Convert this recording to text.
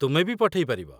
ତୁମେ ବି ପଠେଇ ପାରିବ